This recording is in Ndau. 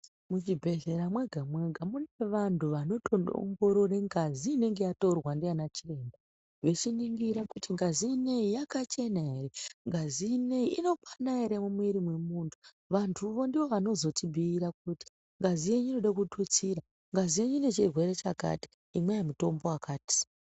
Muchibhehlera mwega mwega mune vantu vanotoongorere ngazi inenge yatorwa ngaanachiremba vechiningira kuti ngazi iyi yakachena here, ngazi ino iyi inokwana here mumiiri memuntu, vantuwo ndoo vanozotibhuyira kuti ngazi yenyu inoda kututsira, ngazi yenyu ine chirwere chakati, imwayi mutombo wakati.